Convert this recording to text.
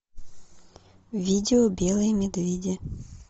видео белые медведи